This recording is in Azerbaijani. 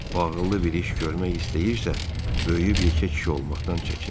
O ağıllı bir iş görmək istəyirsə, böyüyüb yekə kişi olmaqdan çəkinsin.